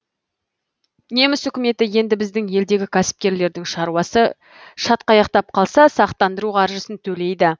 неміс үкіметі енді біздің елдегі кәсіпкерлердің шаруасы шатқаяқтап қалса сақтандыру қаржысын төлейді